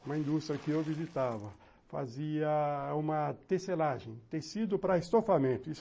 uma indústria que eu visitava, fazia uma tecelagem, tecido para estofamento.